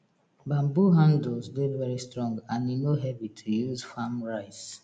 banbo handles dey very strong and e no heavy to use farm rice